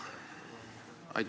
Aitäh!